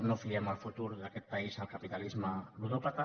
no fi·em el futur d’aquest país al capitalisme ludòpata